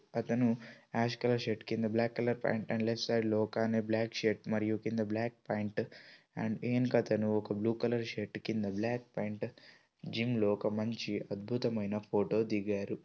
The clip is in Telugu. అతను యాష్ కలర్ షర్ట్ కింద black colour pant left side లో ఒక్కయిన బ్లాక్ షర్ట్ మరియు కింద బ్లాక్ పాంట్ అండ్ ఉంకొ అతను బ్ల్యూ కలర్ షర్ట్ కింద బ్లాక్ కలర్ పాంట్ జిన్ లో ఒక మనిషి అద్బుతమైన ఫోటో ధిగారు.